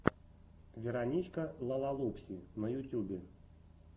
вероничка лалалупси на ютюбе